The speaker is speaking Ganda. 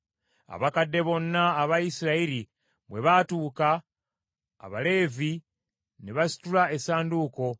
Abakadde bonna aba Isirayiri bwe baatuuka, Abaleevi ne basitula essanduuko,